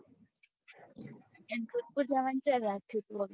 જોધપૂર જવાનું ચ્યારે રાખ્યું તું